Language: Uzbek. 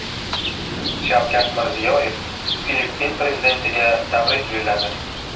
Shavkat Mirziyoyev Filippin prezidentiga tabrik yo‘lladi.